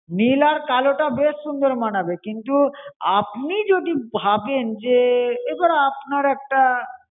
নীল আর কালো টা বেশ সুন্দর মানাবে। কিন্তু আপনি যদি ভাবেন যে, এবার আপনার একটা